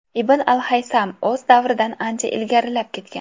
Ibn al-Haysam o‘z davridan ancha ilgarilab ketgan.